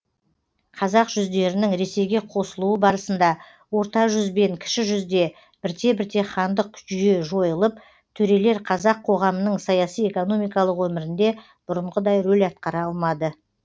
қазақ жүздерінің ресейге қосылуы барысында орта жүз бен кіші жүзде бірте бірте хандық жүйе жойылып төрелер қазақ қоғамының саяси экономикалық өмірінде бұрынғыдай рөл атқара алмады